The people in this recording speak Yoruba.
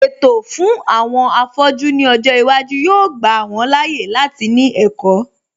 Ètò fún àwọn afọ́jú ní ọjọ́ iwájú yóò gbà wọn láàyè láti ní ẹ̀kọ́